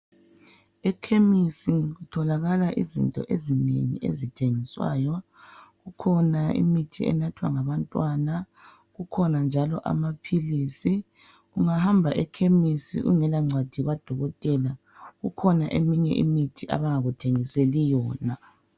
Ekhemisi kutholakala izinto ezinengi ezithengiswayo. Kukhona imithi enathwa ngabantwana kukhona njalo amaphilisi. Ungahamba ekhemisi ungela ngcwadi kadokotela kukhona eminye imithi abangakuthengiseli yona.